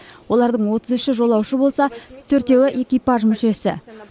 олардың отыз үші жолаушы болса төртеуі экипаж мүшесі